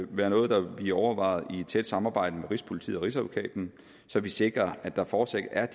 være noget der vil blive overvejet i et tæt samarbejde med rigspolitiet og rigsadvokaten så vi sikrer at der fortsat er